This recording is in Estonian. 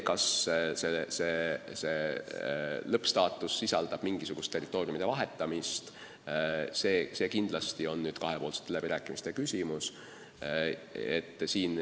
Kas see lõppstaatus tähendab mingisugust territooriumide vahetamist, on kindlasti kahepoolsete läbirääkimiste küsimus.